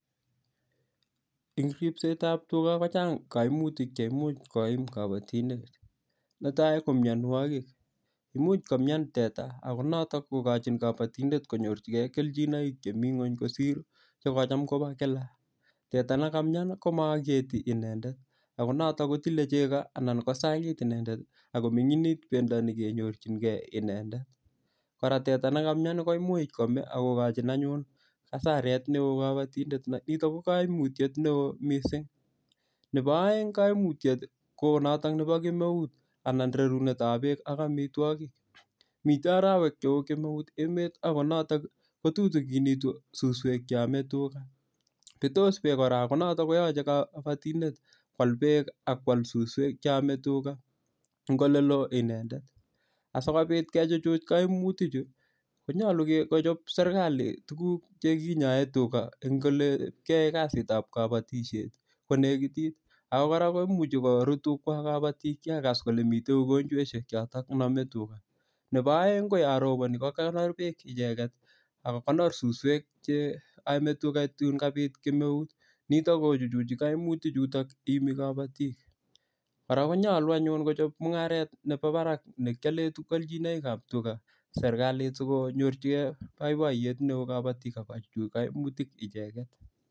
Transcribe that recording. en ripsetab tuga kochang koimutik cheimuche koiim kopotindet, netai ko myonwogik imuch komnyaan teta ago noto kogochin kopotindet kelchinoik chemii ngweny kosir chegocham kobo kila, teta negamyaan iih komoogeti inendet ago noto kotile chego ak kosagiit inendet ak kominginit bendo negenyorchingee inendet, koraa teta negamyaan iih komuch komee ak kogochin anyuunasareet neoo kobotindet nito ko koimutyeet neoo mising, nebo oeng koimutyeet iihko noton nebo kemeuut koo noton nebo rarunet ab beek ak omitwogik, miten orowek cheoo kemeut emet iih ago noton kotutuginitu susweek cheome tuga betoos beek kora ko noton koyoche kobotindet kwaal beek ak kwaal susweek cheome tuga en olelee inendet, asigobiit kichuchuch koimuti chu konyolu kochob serkaliit olekinyoeen tuga en olekyoe kasit ab kabotisyeet sigonegitit ooh koraa koruut tuga kobotiik chegagas kole miten ugonjosyeek choton chenome tuga, nebo oeng koyoon roboni kogonoor beek icheget ak susweek cheome tuga tuun kabiit kemeuut niton kochuchuji koimutik chuton iimi kobotiik, koraa konyolu ayuun kochob mungareet nebo barak nekyoleen kelchinoik ab tuga serkaliit sigonyorchigee boiboiyeet neoo kobotik ak kochuchuch koimutik icheget